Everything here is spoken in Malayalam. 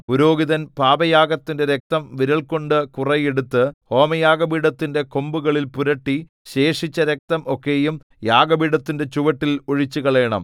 പുരോഹിതൻ പാപയാഗത്തിന്റെ രക്തം വിരൽകൊണ്ട് കുറെ എടുത്ത് ഹോമയാഗപീഠത്തിന്റെ കൊമ്പുകളിൽ പുരട്ടി ശേഷിച്ച രക്തം ഒക്കെയും യാഗപീഠത്തിന്റെ ചുവട്ടിൽ ഒഴിച്ചുകളയണം